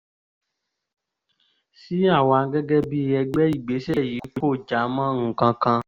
sí àwa gẹ́gẹ́ bíi ẹgbẹ́ ìgbésẹ̀ yìí kò já mọ́ nǹkan kan